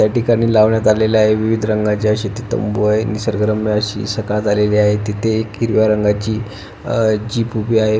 त्या ठिकाणी लावण्यात आलेले आहे विविध रंगाचे अशे ते तम्बूय निसर्गरम्य अशी सकाळ झालेली आहे तिथे एक हिरव्या रंगाची जीप उभी आहे.